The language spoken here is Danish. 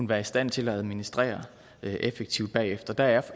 være i stand til at administrere effektivt bagefter der er